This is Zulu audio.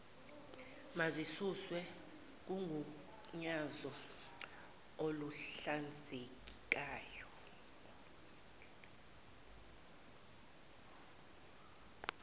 mazisuswe kugunyazo oluhlinzekayo